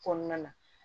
Kɔnɔna na